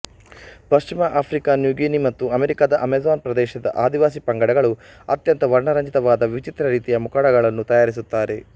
ಪಶ್ಚಿಮಾ Africa New Guinea ಮತ್ತು ಅಮೆರಿಕದ Amazon ಪ್ರದೇಶದ ಆದಿವಾಸಿ ಪಂಗಡಗಳು ಅತ್ಯಂತ ವರ್ಣರಂಜಿತವಾದ ವಿಚಿತ್ರ ರೀತಿಯ ಮುಖವಾಡಗಳನ್ನು ತಯಾರಿಸುತ್ತಾರೆ